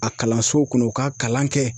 A kalansow kɔnɔ u k'a kalan kɛ.